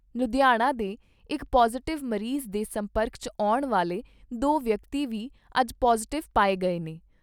ਲੁਧਿਆਣਾ ਦੇ ਇਕ ਪੌਜ਼ਿਟਿਵ ਮਰੀਜ਼ ਦੇ ਸੰਪਰਕ 'ਚ ਆਉਣ ਵਾਲੇ ਦੋ ਵਿਅਕਤੀ ਵੀ ਅੱਜ ਪੌਜ਼ਿਟਿਵ ਪਾਏ ਗਏ ਨੇ।